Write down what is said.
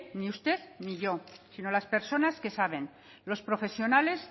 ni usted ni yo sino las personas que saben los profesionales